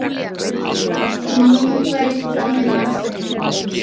Nú væri komið að þeim.